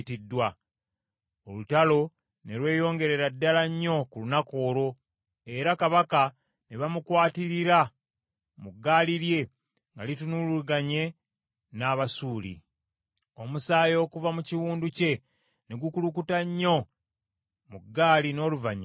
Olutalo ne lweyongerera ddala nnyo ku lunaku olwo, era kabaka ne bamukwatirira mu gaali lye nga litunuulaganye n’Abasuuli. Omusaayi okuva mu kiwundu kye ne gukulukuta nnyo mu gaali, n’oluvannyuma n’afa.